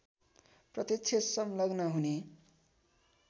प्रत्यक्ष संलग्न हुने